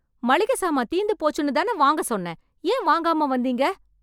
மளிகை சாமான் தீர்ந்து போச்சுனு தானே வாங்க சொன்ன ஏன் வாங்காம வந்தீங்க?